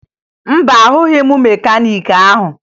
Mba, ahụghị m mekaniiki ahụ